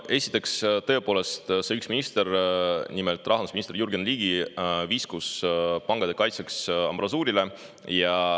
Esiteks, tõepoolest, üks minister, nimelt rahandusminister Jürgen Ligi, viskus pankade kaitseks ambrasuurile.